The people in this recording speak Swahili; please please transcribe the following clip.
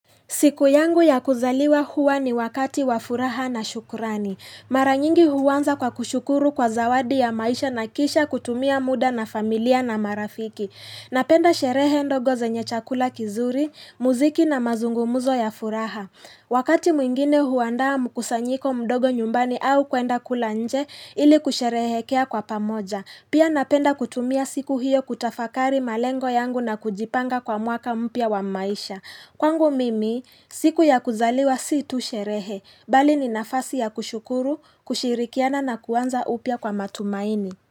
Siku yangu ya kuzaliwa huwa ni wakati wa furaha na shukurani. Mara nyingi huanza kwa kushukuru kwa zawadi ya maisha na kisha kutumia muda na familia na marafiki. Napenda sherehe ndogo zenye chakula kizuri, muziki na mazungumuzo ya furaha. Wakati mwingine huandaa mkusanyiko mdogo nyumbani au kwenda kula nje ili kusherehekea kwa pamoja. Pia napenda kutumia siku hiyo kutafakari malengo yangu na kujipanga kwa mwaka mpya wa maisha. Kwangu mimi, siku ya kuzaliwa si tusherehe, bali ni nafasi ya kushukuru, kushirikiana na kuanza upya kwa matumaini.